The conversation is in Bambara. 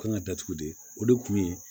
Kan ka datugu de o de kun ye